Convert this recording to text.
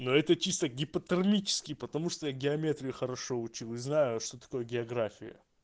но это чисто гипотермический потому что я геометрию хорошо учил и знаю что такое география